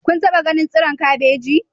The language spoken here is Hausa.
Kun taba ganin tsiron kabeji?